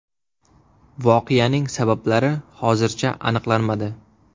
Voqeaning sabablari hozircha aniqlanmadi.